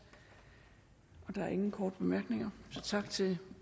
der er ingen korte bemærkninger så tak til